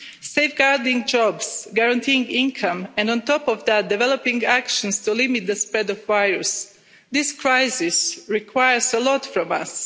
Safeguarding jobs, guaranteeing income and on top of that developing actions to limit the spread of the virus, this crisis requires a lot from us.